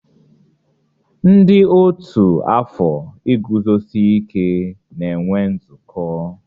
Ndị ọ́tù afọ iguzosi ike na-enwe nzukọ.